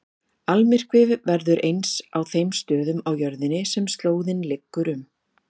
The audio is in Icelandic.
Almyrkvi verður aðeins á þeim stöðum á jörðinni sem slóðin liggur um.